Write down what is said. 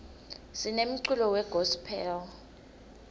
sinemculo we gospel